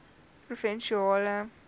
provinsiale vlak plaas